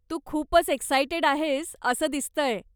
तू खूपच एक्सायटेड आहेस असं दिसतंय.